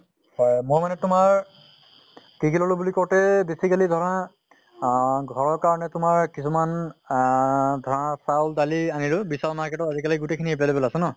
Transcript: হয় মানে তোমাৰ কি কি ললো বুলি কওঁতে basically ধৰা আহ ঘৰৰ কাৰণে তোমাৰ কিছুমান আহ ধৰা চাউল দালি আনিলো। বিশাল market আজি কালি গোটেই খিনি available আছে ন?